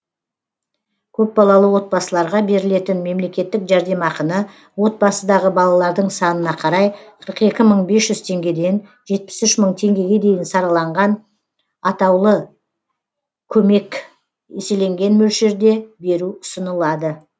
көпбалалы отбасыларға берілетін мемлекеттік жәрдемақыны отбасыдағы балалардың санына қарай қырық екі мың бес жүз теңгеден жетпіс үш мың теңгеге дейін сараланған атаулы көмек еселенген мөлшерде беру ұсынылады